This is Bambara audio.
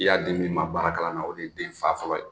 I y'a di min ma baara kalan na o de ye den fa fɔlɔ ye.